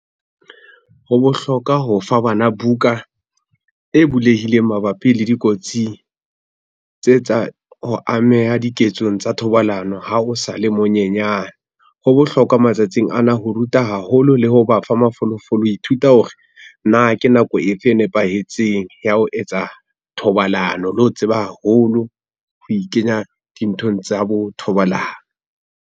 Ho bohlokwa ho fa bana buka e bulehileng mabapi le dikotsing tse tsa ho ameha diketsong tsa thobalano ha o sa le monyenyane. Ho bohlokwa matsatsing ana ho ruta haholo le ho ba fa mafolofolo. Ho ithuta hore na ke nako efe e nepahetseng ya ho etsa thobalano le ho tseba haholo ho ikenya dinthong tsa bo thobalano?